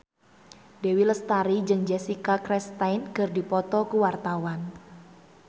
Dewi Lestari jeung Jessica Chastain keur dipoto ku wartawan